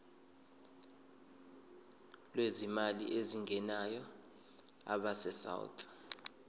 lwezimali ezingenayo abesouth